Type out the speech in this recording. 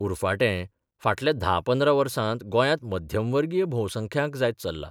उरफाटें फाटल्या था पंद्रा वर्सात गोंयांत मध्यमवर्गीय भोवसंख्यांक जायत चल्ला.